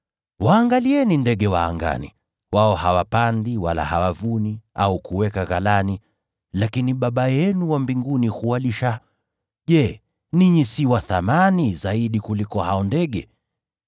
Waangalieni ndege wa angani; wao hawapandi wala hawavuni au kuweka ghalani, lakini Baba yenu wa mbinguni huwalisha. Je, ninyi si wa thamani zaidi kuliko hao ndege?